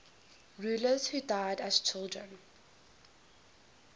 rulers who died as children